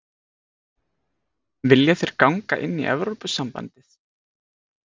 Vilja þeir ganga inn í Evrópusambandið?